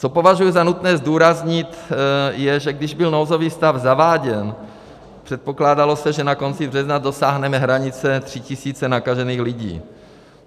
Co považuji za nutné zdůraznit, je, že když byl nouzový stav zaváděn, předpokládalo se, že na konci března dosáhneme hranice tři tisíce nakažených lidí.